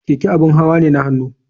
Keke abin hawa ne na hannu.